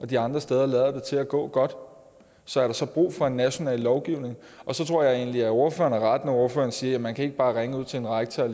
de andre steder lader til at gå godt så er der så brug for en national lovgivning jeg tror egentlig at ordføreren har ret når ordføreren siger at man ikke bare ringe ud til en rektor